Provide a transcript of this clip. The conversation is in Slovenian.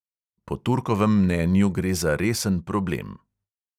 Po turkovem mnenju gre za resen problem.